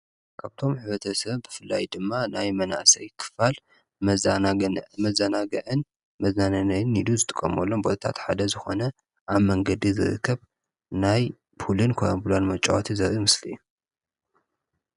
ካብቶም ሕብረተሰብ ብፍላይ ድማ ናይ መናእሰይ ክፋል መHናግ መዘናግዕን መዝናነይን ኢሉ ዝጥቀሙሎም ቦታታት ሓደ ዝኾነ ኣብ መንገዲ ዝርከብ ናይ ፑልን ኮራንቡላን መጫወትን ዘርአይ ምስሊ እዩ።